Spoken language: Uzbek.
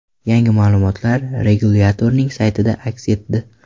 Yangi ma’lumotlar regulyatorning saytida aks etdi .